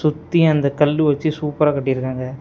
சுத்தி அந்த கல்லு வச்சு சூப்பரா கட்டிருக்காங்க.